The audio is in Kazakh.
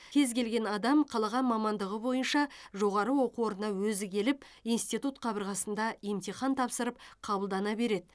кез келген адам қалаған мамандығы бойынша жоғары оқу орнына өзі келіп институт қабырғасында емтихан тапсырып қабылдана береді